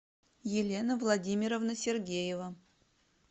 елена владимировна сергеева